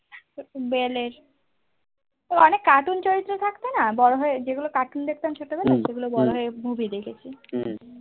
beyblade তো অনেক cartoon চরিত্র থাকতো না বড়ো হয়ে যেইগুলো cartoon দেখতাম ছোট বেলায় সেইগুলো বড়ো হয়ে movie দেখেছি